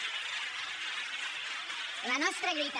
la nostra lluita